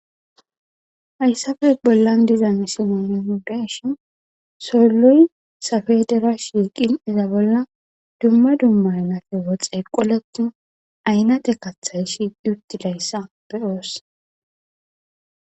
Haayssafebollan dizan isimonondeshin soolloy safe dera shiiqin iza bolla dumma dummanafe wo xeeqoletu aynate kathay shiiq yuttidayssa beyoos.